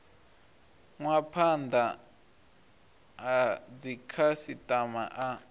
nwa phanda ha dzikhasitama a